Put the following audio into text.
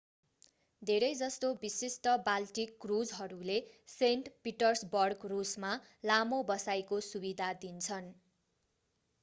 धेरै जसो विशिष्ट बाल्टिक क्रुजहरूले सेन्ट पिटर्सबर्ग रूसमा लामो बसाईंको सुविधा दिन्छन्